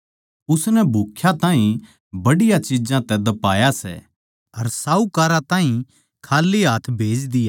उसनै भूख्या ताहीं बढ़िया चिज्जां तै ध्पाया सै अर साहूकारां ताहीं खाल्ली हाथ भेज दिया